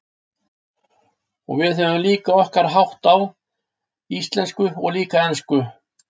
Og við höfum líka okkar þátt, á íslensku og líka ensku.